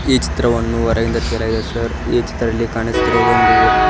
ಈ ಚಿತ್ರವನ್ನು ಹೊರಗಿಂದ ತೆಗೆಯಲಾಗಿದೆ ಸರ್ ಈ ಚಿತ್ರದಲ್ಲಿ ಕಾಣಿಸುತ್ತಿರೊದೊಂದು--